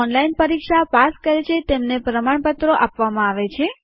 જે લોકો ઓનલાઈન પરીક્ષા પાસ કરે છે તેમને પ્રમાણપત્રો આપવામાં આવે છે